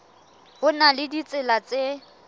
ho na le ditsela tse